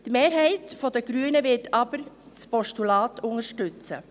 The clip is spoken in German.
Die Mehrheit der Grünen wird aber das Postulat unterstützen.